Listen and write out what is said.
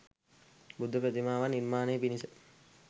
බුද්ධ ප්‍රතිමාවක් නිර්මාණය පිණිස